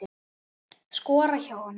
Skora hjá honum??